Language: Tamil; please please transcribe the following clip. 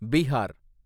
பீஹார்